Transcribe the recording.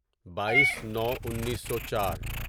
بایٔیس نو انیسو چار